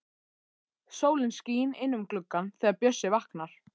Sólin skín inn um gluggann þegar Bjössi vaknar.